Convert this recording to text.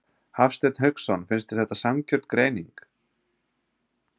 Hafsteinn Hauksson: Finnst þér þetta sanngjörn greining?